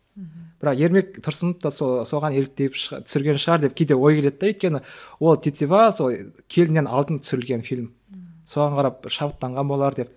мхм бірақ ермек тұрсынов та соған еліктеп түсірген шығар деп кейде ой келеді де өйткені ол тетива сол келіннен алдын түсірілген фильм соған қарап шабыттанған болар деп